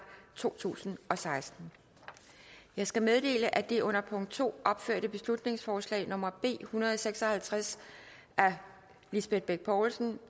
to tusind og seksten jeg skal meddele at det under punkt to opførte beslutningsforslag nummer b en hundrede og seks og halvtreds af lisbeth bech poulsen